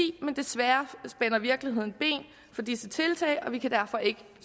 men desværre spænder virkeligheden ben for disse tiltag og vi kan derfor ikke